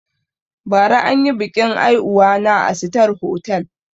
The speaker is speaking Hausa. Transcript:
Bara anyi biƙin aihuwa na a sitar hotal